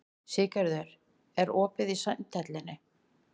Siggerður, er opið í Sundhöllinni?